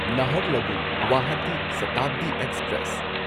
Naharlagun Guwahati Shatabdi express